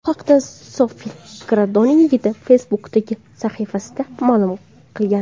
Bu haqda Sofi Gradonning yigiti Facebook’dagi sahifasida ma’lum qilgan.